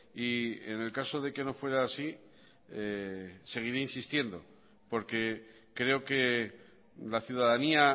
y en el caso de que no fuera así seguiré insistiendo porque creo que la ciudadanía